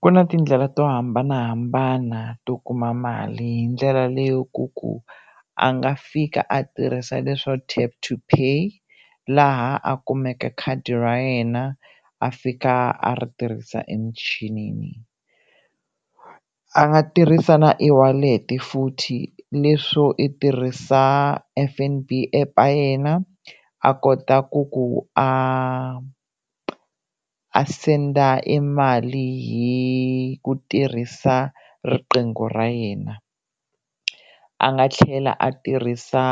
Ku na tindlela to hambanahambana to kuma mali hi ndlela leyo ku ku a nga fika a tirhisa leswo tap to pay laha a kumeke khadi ra yena a fika a ri tirhisa emichini a nga tirhisa na e-wallet futhi leswo i tirhisa F_N_B app a yena a kota ku ku a a senda i mali hi ku tirhisa riqingho ra yena, a nga tlhela a tirhisa